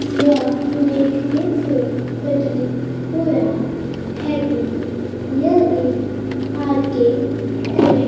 यह देखनें से प्रतित हो रहा है की यह एक आर के क्रिमिक --